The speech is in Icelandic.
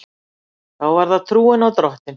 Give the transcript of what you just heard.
Það var trúin á Drottin.